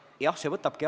Jah, see võtab aega.